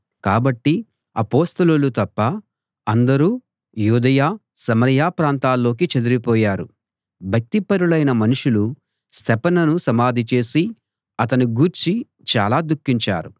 కాబట్టి అపొస్తలులు తప్ప అందరూ యూదయ సమరయ ప్రాంతాల్లోకి చెదరి పోయారు భక్తిపరులైన మనుషులు స్తెఫనును సమాధి చేసి అతని గూర్చి చాలా దుఖించారు